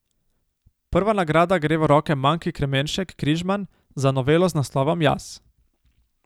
Prva nagrada gre v roke Manki Kremenšek Križman za novelo z naslovom Jaz.